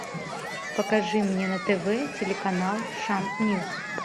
покажи мне на тв телеканал шант ньюс